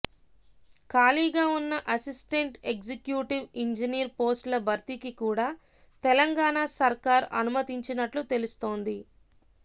ఖాళీగా ఉన్న assistant executive engineer పోస్టుల భర్తీకి కూడా తెలంగాణ సర్కార్ అనుమతించినట్లు తెలుస్తోంది